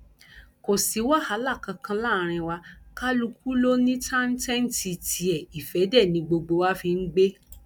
kò sí wàhálà kankan láàrin wa kálukú ló ní táńtẹǹtì tiẹ ìfẹ dé ni gbogbo wa fi ń gbé